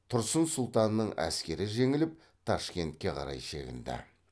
тұрсын сұлтанның әскері жеңіліп ташкентке қарай шегінді